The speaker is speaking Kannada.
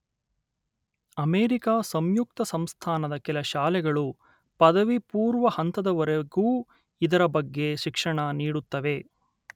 ಅಮೆರಿಕ ಸಂಯುಕ್ತ ಸಂಸ್ಥಾನದ ಕೆಲ ಶಾಲೆಗಳು ಪದವಿಪೂರ್ವ ಹಂತದವರೆಗೂ ಇದರ ಬಗ್ಗೆ ಶಿಕ್ಷಣ ನೀಡುತ್ತವೆ